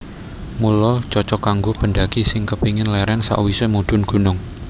Mula cocog kanggo pendhaki sing kepingin lérèn sawisé mudhun gunung